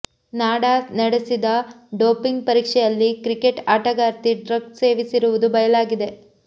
NADA ನಡೆಸಿದ doping ಪರೀಕ್ಷೆಯಲ್ಲಿ cricket ಆಟಗಾರ್ತಿ ಡ್ರಗ್ಸ್ ಸೇವಿಸಿರುವುದು ಬಯಲಾಗಿದೆ